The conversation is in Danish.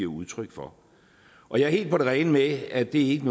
udtryk for og jeg er helt på det rene med at det ikke